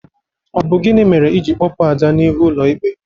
Ọ bụ gini mere iji kpọpụ Ada n'ihu ụlọ ikpe?